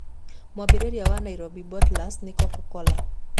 Mwambĩrĩria wa Nairobi Bottlers nĩ Coca-Cola.